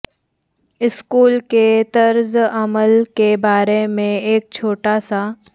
school کے طرز عمل کے بارے میں ایک چھوٹا سا